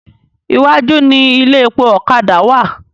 Iwájú ni ilé epo ọ̀kadà wà.